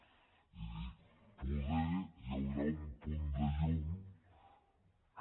he dit poder hi haurà un punt de llum que